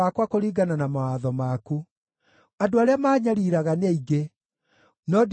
Andũ arĩa maanyariiraga nĩ aingĩ, no ndirĩ ndahutatĩra kĩrĩra gĩaku.